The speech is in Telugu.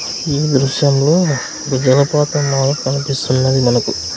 ఈ దృశ్యంలో ఒక జలపాతం లాగా కనిపిస్తున్నది మనకు.